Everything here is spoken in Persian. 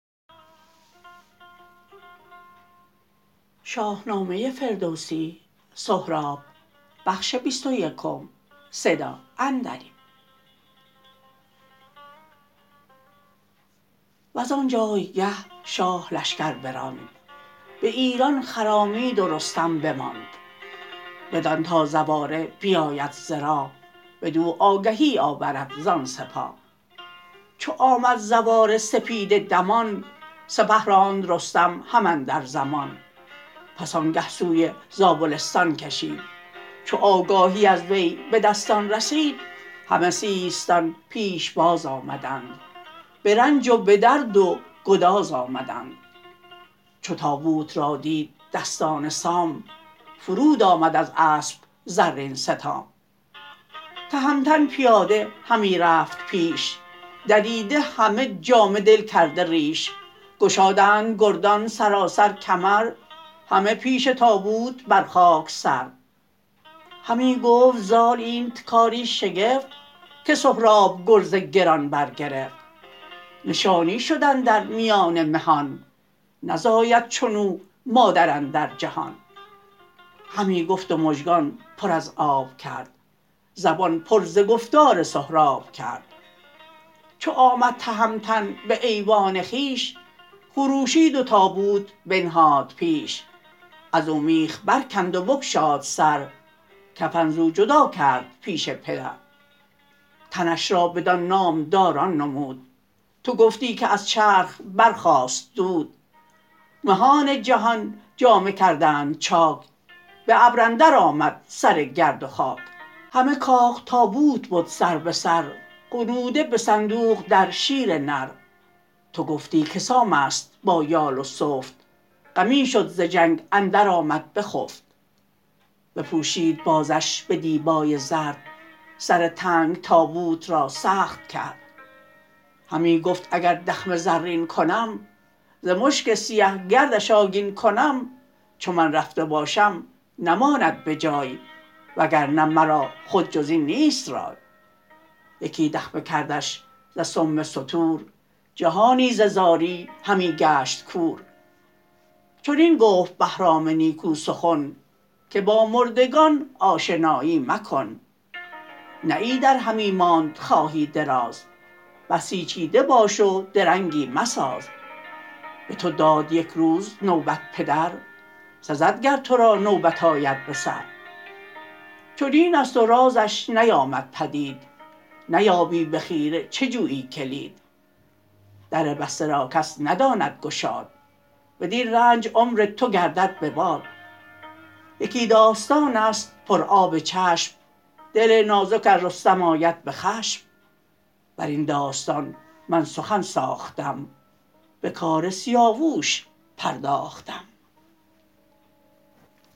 وزان جایگه شاه لشکر براند به ایران خرامید و رستم بماند بدان تا زواره بیاید ز راه بدو آگهی آورد زان سپاه چو آمد زواره سپیده دمان سپه راند رستم هم اندر زمان پس آنگه سوی زابلستان کشید چو آگاهی از وی به دستان رسید همه سیستان پیش باز آمدند به رنج و به درد و گداز آمدند چو تابوت را دید دستان سام فرود آمد از اسپ زرین ستام تهمتن پیاده همی رفت پیش دریده همه جامه دل کرده ریش گشادند گردان سراسر کمر همه پیش تابوت بر خاک سر همی گفت زال اینت کاری شگفت که سهراب گرز گران برگرفت نشانی شد اندر میان مهان نزاید چنو مادر اندر جهان همی گفت و مژگان پر از آب کرد زبان پر ز گفتار سهراب کرد چو آمد تهمتن به ایوان خویش خروشید و تابوت بنهاد پیش ازو میخ برکند و بگشاد سر کفن زو جدا کرد پیش پدر تنش را بدان نامداران نمود تو گفتی که از چرخ برخاست دود مهان جهان جامه کردند چاک به ابر اندر آمد سر گرد و خاک همه کاخ تابوت بد سر به سر غنوده بصندوق در شیر نر تو گفتی که سام است با یال و سفت غمی شد ز جنگ اندر آمد بخفت بپوشید بازش به دیبای زرد سر تنگ تابوت را سخت کرد همی گفت اگر دخمه زرین کنم ز مشک سیه گردش آگین کنم چو من رفته باشم نماند بجای وگرنه مرا خود جزین نیست رای یکی دخمه کردش ز سم ستور جهانی ز زاری همی گشت کور چنین گفت بهرام نیکو سخن که با مردگان آشنایی مکن نه ایدر همی ماند خواهی دراز بسیچیده باش و درنگی مساز به تو داد یک روز نوبت پدر سزد گر ترا نوبت آید بسر چنین است و رازش نیامد پدید نیابی به خیره چه جویی کلید در بسته را کس نداند گشاد بدین رنج عمر تو گردد بباد یکی داستانست پر آب چشم دل نازک از رستم آید بخشم برین داستان من سخن ساختم به کار سیاووش پرداختم